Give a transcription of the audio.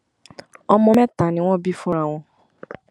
ọmọ mẹta ni wọn bí fúnra wọn